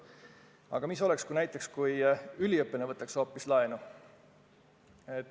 Aga mis oleks, kui hoopis üliõpilane võtaks laenu?